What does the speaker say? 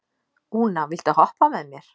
Úna, viltu hoppa með mér?